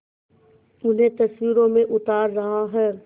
उन्हें तस्वीरों में उतार रहा है